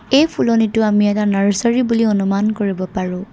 এই ফুলনিটো আমি এটা নাৰ্চাৰী বুলি অনুমান কৰিব পাৰোঁ।